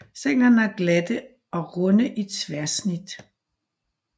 Stænglerne er glatte og runde i tværsnit